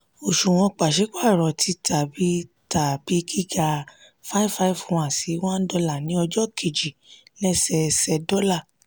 òṣùwọ̀n pàsípàrọ̀ ti tà bi tà bi giga n551/$1 ní ọjọ́ kejì lẹ́sẹẹsẹ dọ́là.